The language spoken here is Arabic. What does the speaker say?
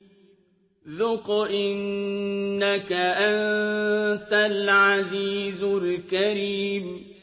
ذُقْ إِنَّكَ أَنتَ الْعَزِيزُ الْكَرِيمُ